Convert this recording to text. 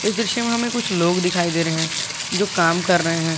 इस दृश्य में हमें कुछ लोग दिखाई दे रहे हैं जो काम कर रहे हैं।